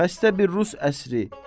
Xəstə bir rus əsri.